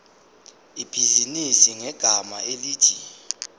ibhizinisi ngegama elithi